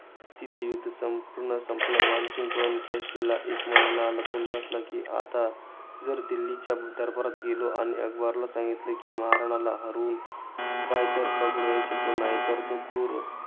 तिथे युध्द संपूर्ण संपलं. मानसिंग पळून काशीला एक महिना लपून बसला, कि आता जर दिल्लीच्या दरबारात गेलो आणि अकबरला सांगितलं कि, महाराणाला हरवून काय ते पकडू शकलो नाही. तर तो क्रूर